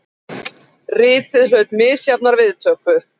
Ritið hlaut misjafnar viðtökur.